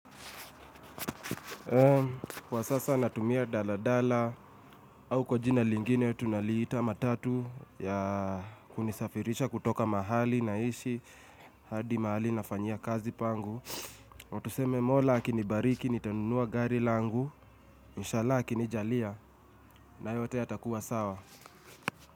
Kwa sasa natumia daladala au kwa jina lingine tunaliita matatu ya kunisafirisha kutoka mahali naishi hadi mahali nafanyia kazi pangu Tuseme mola akinibariki nitanunua gari langu Inshalla akinijalia. Na yote ya takuwa sawa.